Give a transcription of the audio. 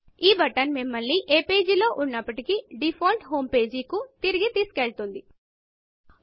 ఈ బటన్ మిమ్మల్ని ఏ వెబ్ పేజ్ లో ఉన్నప్పటికీ డిఫాల్ట్ హోమ్ pageడిఫాల్ట్ హోమ్ పేజీకి కు తిరిగి తెసుకువెళుతుంది